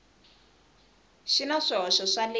xi na swihoxo swa le